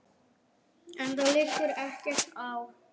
Enda liggur ekkert á.